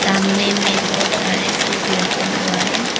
सामने मे बहोत सारे फूल भी रखा हुआ है।